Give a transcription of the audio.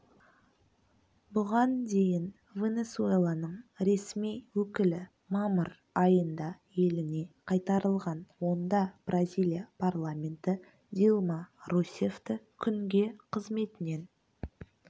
бұған дейін венесуэланың ресми өкілі мамыр айында еліне қайтарылған онда бразилия парламенті дилма русеффті күнге қызметінен